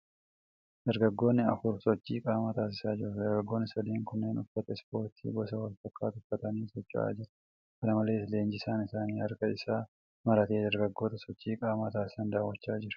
Dargaggoonni afur sochii qaamaa taasisaa jiru. Dargaggoonni sadeen kunneen uffata ispoortii gosa wal fakkaatu uffatanii socho'aa jiru. Kana malees, leenjisaan isaanii harka isaa maratee dargaggoota sochii qaamaa taasisan daawwachaa jira.